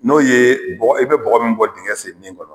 N'o ye bɔgɔ i bɛ bɔgɔ min bɔ dengɛ sennen kɔnɔ